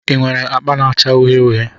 Ị nwere akpa na-acha uhie uhie?